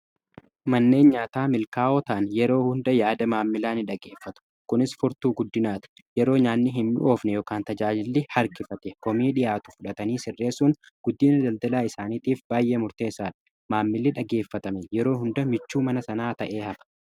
manneen nyaataa milkaa'oo ta'an yeroo hunda yaada maamilaa ni dhageeffatu, kunis furtuu guddinaati. Yeroo nyaanni hin oofne ykn tajaajilli harkifate koomii dhiyaatu fudhatanii sirreessuun guddina daldalaa isaaniitiif baay'ee murteessadha. maamilli dhageeffatame yeroo hunda michuu mana sanaa ta'ee hafa.